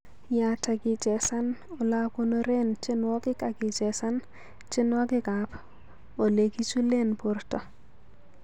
Yaat agichesan olagonoren tyenwogik agichesan tyenwogikab olegichulen borto